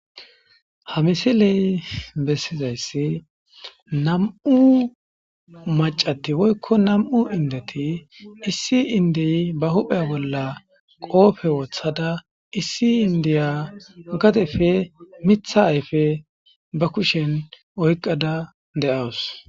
Haa missileyi besizayiss nam''u macati woyikko nam''u indeti issi indiya baa huphphe bolla qofe woththada issi indiya gadeppe miththa ayif Ed be kushshenni oyikkada de'awus.